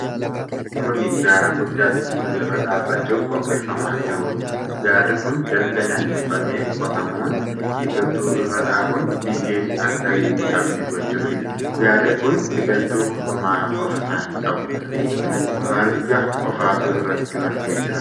Kunni gaara guddaa biqiltuun irra dhaabachuuf qopheeffamaa jiruudha. Gaarri kun dalga naanneefamee qotamuun biqiltuu irra dhaabuun biyyeen akka hin dhiqamne gochuufidha. Gaarri kun biqiltuu homaa of irraa hin qabu. Marga qofatu irratti margee jira.